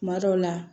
Kuma dɔw la